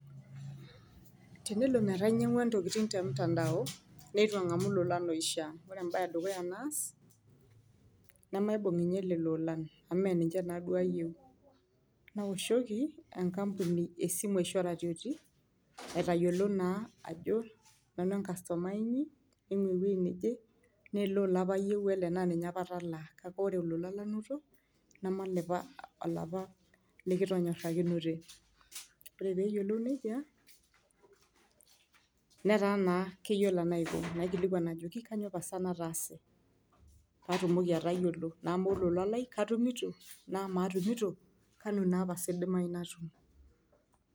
Tenelo teneaku ilannywa lolan te mutandao , ninyangwa ilolan loishiia, ore embae edukuya edukuya naas , nemaibung ninye lelo olan amu mme ninche naaduo ayieu. Naoshoki enkampuni esimu ashu oratioti , aitayiolo naa ajo nanu enkastomai inyi ,ene wueji neje , naa ele ola apa ayieu naa ninye atalaa, kake ore olola lanoto neme olapa likitonyorakinote . Ore peyiolou nejia , netaa naa keyiolo enaiko ,nayiolou enajoki. Kainyioo pasa nataase paatumoki atayiolo, naa amaa olola lai , katumito , naa amaa atumito , kanu naa pasa idimayu paatum ?.